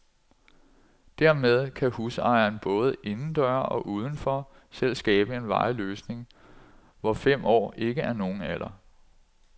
Dermed kan husejeren, både indendøre og uden for, selv skabe en varig løsning, hvor fem år ikke er nogen alder.